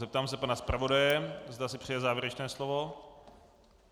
Zeptám se pana zpravodaje, zda si přeje závěrečné slovo.